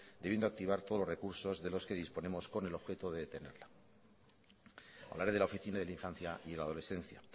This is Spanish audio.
debiendo activar todos los recursos de los que disponemos con el objeto de detenerla hablaré de la oficina de la infancia y la adolescencia